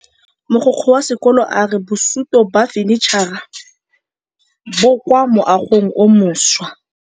Mogokgo wa sekolo a re bosutô ba fanitšhara bo kwa moagong o mošwa.